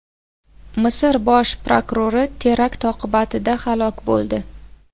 Misr bosh prokurori terakt oqibatida halok bo‘ldi.